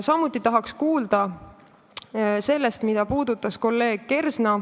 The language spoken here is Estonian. Samuti tahaks rohkem kuulda sellest, mida puudutas kolleeg Kersna.